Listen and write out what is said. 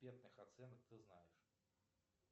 оценок ты знаешь